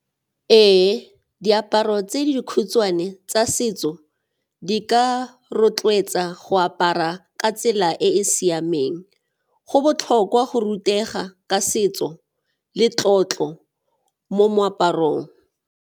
Ee, diaparo tse dikhutshwane tsa setso di ka rotloetsa go apara ka tsela e e siameng, go botlhokwa go rutega ka setso le tlotlo mo moaparong.